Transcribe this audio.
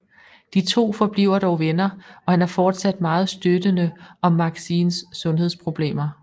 De 2 forbliver dog venner og han er fortsat meget støttende om Maxines sundhedsproblemer